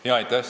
Aitäh!